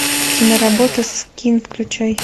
киноработа скин включай